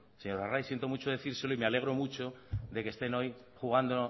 señor arraiz siento mucho decírselo y me alegro mucho de que estén hoy jugando